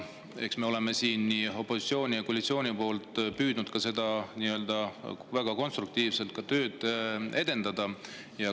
Eks me oleme siin püüdnud – nii opositsioon kui ka koalitsioon – väga konstruktiivselt seda tööd edendada.